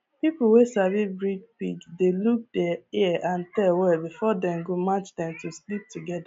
people wey sabi breed pig dey look dia ear and tail well before dem go match dem to sleep togeda